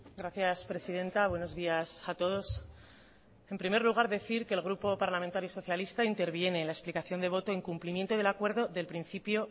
gracias presidenta buenos días a todos en primer lugar decir que el grupo parlamentario socalista interviene en la explicación de voto en cumplimiento del acuerdo desde el principio